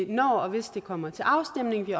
når og hvis det kommer til afstemning vi